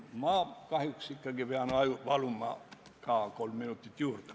Ma kahjuks ikkagi pean paluma ka kolm minutit juurde.